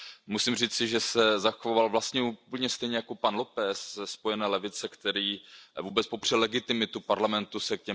Musím říci, že se zachoval vlastně úplně stejně jako pan Lopes ze Spojené levice, který vůbec popřel legitimitu Parlamentu se